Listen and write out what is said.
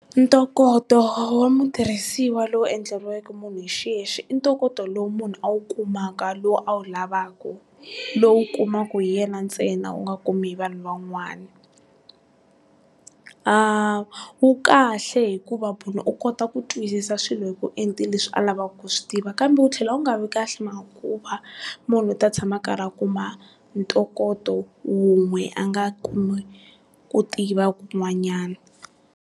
Ntokoto wa mutirhisiwa lowu endleriweke munhu hi xiyexe, i ntokoto lowu munhu a wu kumaka lowu a wu lavaka lowu kumaka hi yena ntsena u nga kumi hi vanhu van'wani. A wu kahle hikuva munhu u kota ku twisisa swilo hi ku enta leswi a lavaku ku swi tiva kambe wu tlhela wu nga vi kahle hikuva munhu u ta tshama a karhi a kuma ntokoto wun'we a nga kumi ku tiva ku n'wanyana.